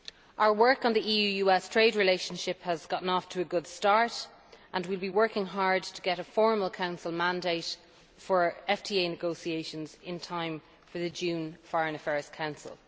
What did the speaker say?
Our work on the EU US trade relationship has got off to a good start, and we will be working hard to get a formal Council mandate for FTA negotiations in time for the June Foreign Affairs Council.